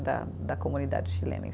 Da da comunidade chilena em